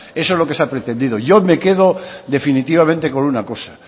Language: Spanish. eso es lo que se ha pretendido yo me quedo definitivamente con una cosa